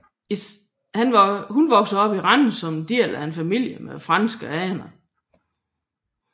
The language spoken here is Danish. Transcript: Hun voksede op i Randers som del af en familie med franske aner